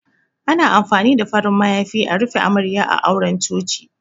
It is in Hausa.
Ana amfani da farin mayafi a rufe Amarya a auren Coci.